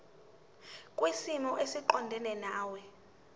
kwisimo esiqondena nawe